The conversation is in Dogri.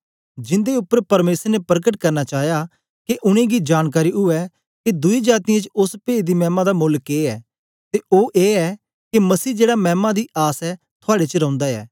जिन्दे उपर परमेसर ने परकट करना चाया के उनेंगी जानकारी उवै के दुई जातीयें च ओस पेद दी मैमा दा मोल्ल के ऐ ते ओ ऐ के मसीह जेड़ा मैमा दी आस ऐ थुआड़े च रौंदा ऐ